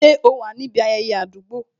Ṣé o wà níbi ayẹyẹ àdúgbò?